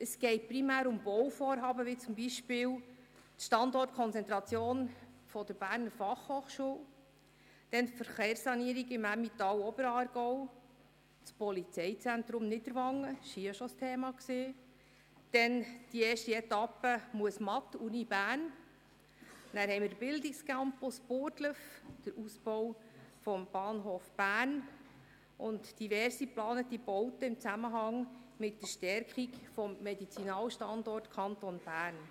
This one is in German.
Es geht primär um Bauvorhaben, wie zum Beispiel die Standortkonzentration Berner Fachhochschule (BFH), die Verkehrssanierung Emmental und Oberaargau, das Polizeizentrum Niederwangen, welches hier auch schon thematisiert wurde, die erste Etappe «Uni Muesmatt», den Bildungscampus Burgdorf, den Ausbau des Bahnhofs Bern sowie diverse geplante Bauten in Zusammenhang mit der Stärkung des Medizinalstandorts Bern.